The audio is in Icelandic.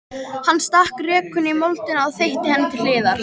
Hann stakk rekunni í moldina og þeytti henni til hliðar.